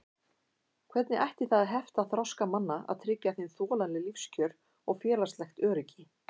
Hvernig ætti það að hefta þroska manna að tryggja þeim þolanleg lífskjör og félagslegt öryggi?